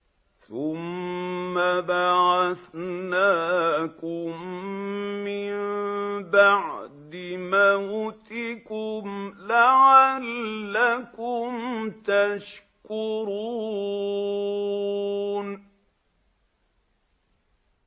ثُمَّ بَعَثْنَاكُم مِّن بَعْدِ مَوْتِكُمْ لَعَلَّكُمْ تَشْكُرُونَ